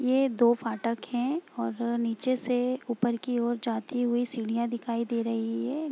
ये दो फाटक हैं और नीचे से ऊपर की ओर जाती हुई सीढ़ियाँ दिखाई दे रही है ।